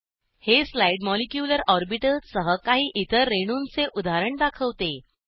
हे slide molecular orbitals सह काही इतर रेणूंचे उदाहरण दाखवते